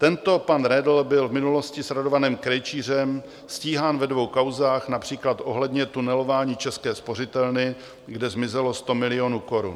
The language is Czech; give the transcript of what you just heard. Tento pan Redl byl v minulosti s Radovanem Krejčířem stíhán ve dvou kauzách, například ohledně tunelování České spořitelny, kde zmizelo 100 milionů korun.